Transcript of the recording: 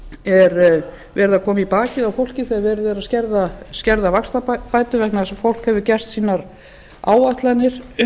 verið að koma í bakið á fólki þegar verið er að skerða vaxtabætur vegna þess að fólk hefur gert sínar áætlanir